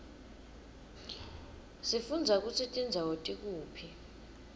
sifundza kutsi tindzawo tikuphi